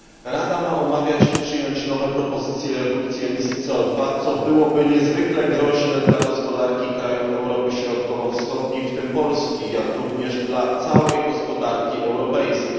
Rada ma omawiać i przyjąć nowe propozycje redukcji CO co byłoby niezwykle groźne dla gospodarki krajów Europy Środkowo Wschodniej, w tym Polski, jak również dla całej gospodarki europejskiej.